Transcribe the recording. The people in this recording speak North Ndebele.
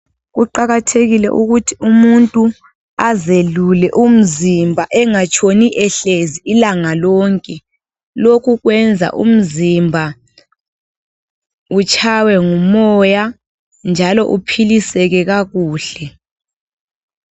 Kuqakathekile ukuthi umuntu azelule umzimba engatshoni ehlezi ilanga lonke. Lokhu kwenza umzimba ,utshaywe ngumoya njalo uphiliseke kakuhle.